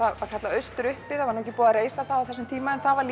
austur uppi sem var ekki búið að reisa á þeim tíma en það var